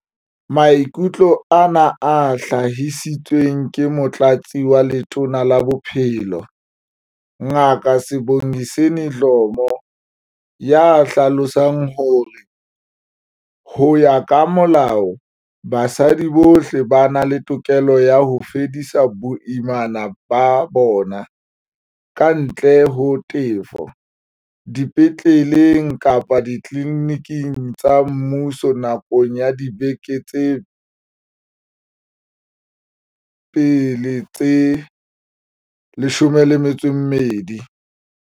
Maikutlo ana a hlahisitswe ke Motlatsi wa Letona la Bophelo, Ngaka Sibongiseni Dhlomo, ya hlalosang hore, ho ya ka molao, basadi bohle ba na le tokelo ya ho fedisa boimana ba bona, kantle ho tefo, dipetleleng kapa ditliliniking tsa mmuso nakong ya dibeke tsa pele tse 12.